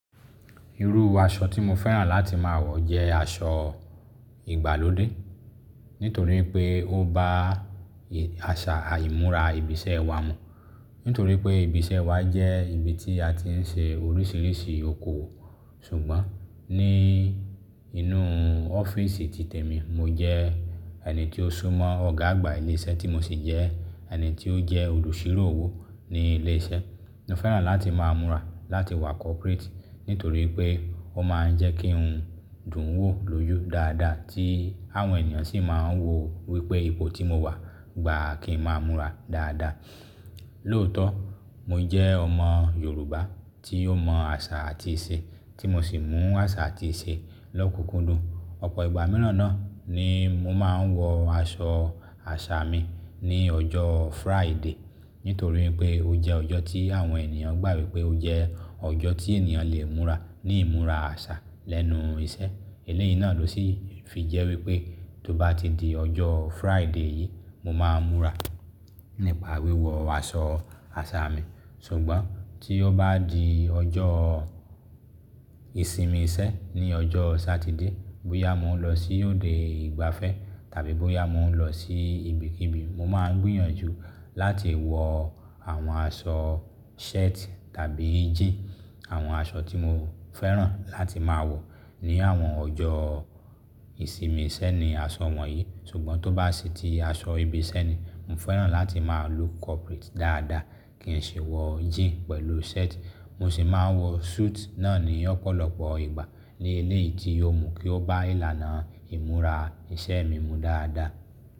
Irú aṣọ tí mo fẹ́ràn láti máa wọ jẹ́ aṣọ ìgbàlódé. Nítorí pé ó bá àṣà ìmúra ibi iṣẹ́ wa mu. Nítorí pé ibi iṣẹ́ wa jẹ́ ibi tí a ti ń ṣe oríṣiríṣi okòwò Ṣùgbọ́n ní inú ọ́fíìsì títè mi, mo jẹ́ ẹni tí ó súmọ́ Ọ̀gá àgbà ilé iṣẹ́ tí mo sì jẹ́ ẹni tí ó jẹ́ olùṣirò owó ní ilé iṣẹ́. Mo fẹ́ràn láti máa múra láti wá corporate nítorí pé ó máa ń jẹ́ kí ń dùn wò lójú dáadáa tí àwọn ènìyàn sì máa ń wò wípé ipò tí mo wà gba kí ń máa múra dáadáa. Lóòótọ́, mo jẹ́ ọmọ Yorùbá tí ó mọ àṣà àti ìṣe tí mo sì mú àṣà àti ìṣe lọ́kùnkúndùn. Ọ̀pọ̀ ìgbà mìíràn náà ni mo máa ń wọ aṣọ àṣà mi ní ọjọ́ Friday. Nítorí pé ó jẹ́ ọjọ́ tí àwọn ènìyàn gbà wípé pé ó jẹ́ ọjọ́ tí ènìyàn lè múra ní ìmúra àṣà lẹ́nu iṣẹ́. Eléyìí náà ló sì fi jẹ́ wípé tó bá ti di ọjọ́ Friday yìí mo máa múra nípa wíwọ aṣọ àṣà mi. Ṣùgbọ́n tí ó bá di ọjọ́ ìsinmi iṣẹ́ ní ọjọ́ Satide bóyá mo ń lọ sí òde ìgbafẹ́ tàbí bóyá mo ń lọ sí ibikíbi, mo máa ń gbìyànjú láti wọ àwọn aṣọ shirt tàbí jeans. Àwọn aṣọ tí mo fẹ́ràn láti máa wọ ní àwọn ọjọ́ ìsinmi iṣẹ́ ni aṣọ wọ̀nyí. Ṣùgbọ́n tó bá sì ti aṣọ ibi iṣẹ́ ni, mo fẹ́ràn láti máa look corporate dáadáa. Kì ń ṣe wọ jeans pẹ̀lú shirt. Mo sì máa ń wọ suit náà ní ọ̀pọ̀lọpọ̀ ìgbà ní èléyìí tí yóò mú kí ó bá ìlànà ìmúra iṣẹ́ mi mu dáadáa.